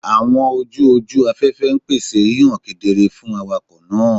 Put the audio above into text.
Awọn oju oju afẹfẹ n pese hihan kedere fun awakọ naa